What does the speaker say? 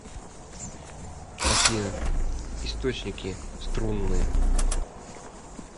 афина источники струнные